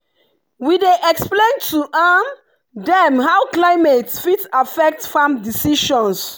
we dey explain to dem how climate fit affect farm decisions.